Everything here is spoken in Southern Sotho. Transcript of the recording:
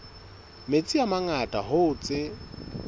metsi a mangata hoo tse